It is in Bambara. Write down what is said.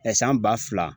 san ba fila